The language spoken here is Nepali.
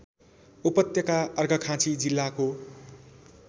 उपत्यका अर्घाखाँची जिल्लाको